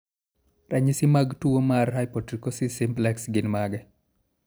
Ranyisi mag tuwo mar Hypotrichosis simplex gin mage?